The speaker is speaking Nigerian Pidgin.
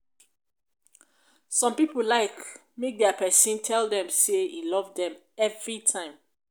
some pipo like make dia pesin tell dem say e love dem everytime